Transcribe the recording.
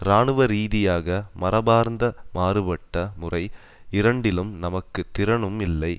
இராணுவரீதியாக மரபார்ந்த மாறுபட்ட முறை இரண்டிலும் நமக்கு திறனும் இல்லை